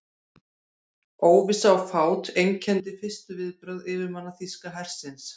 Óvissa og fát einkenndi fyrstu viðbrögð yfirmanna þýska hersins.